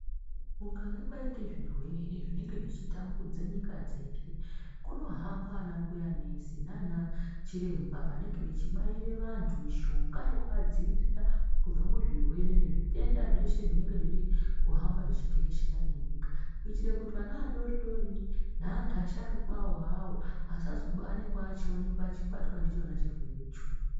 Kukange kwaite zvirwere zvinenge zvichi tambudze nyika dzeshe kunohamba anambuya nesi nanachiremba vanenge vachibaire vanhu mishonga yekuadziirira kubve muzvirwe nezvitenda zveshe zvinenge zviri kuhamba zvichitekeshera nenyika kuitire kuti ana adoridori neantu asharukawo asazoonekwa eibatwa ndichona chirwere cho.